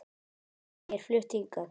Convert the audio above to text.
Já, ég er flutt hingað.